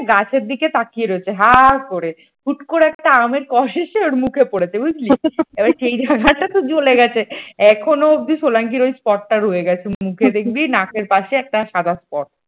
গাছের দিকে তাকিয়ে রয়েছে হা করে হুট করে একটা আমের কোষ এসে ওর মুখে পড়েছে বুঝলি এবার সেই জায়গাটা তো জ্বলে গেছে এখনো এখনও অবধি সোলাঙ্কির ওই spot টা রয়ে গেছে মুখে দেখবি নাকের পাশে ওই সাদা spot ।